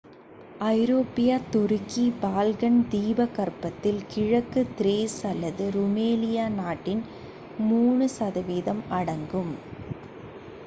ஐரோப்பிய துருக்கி பால்கன் தீபகற்பத்தில் கிழக்கு திரேஸ் அல்லது ருமேலியா நாட்டின் 3% அடங்கும்